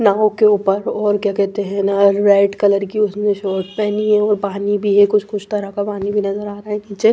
नाव के ऊपर और क्या कहते हैं ना रेड कलर की उसने शॉर्ट पहनी है और पानी भी है कुछ कुछ तरह का पानी भी नजर आ रहा है नीचे।